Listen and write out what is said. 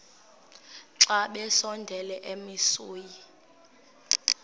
xa besondela emasuie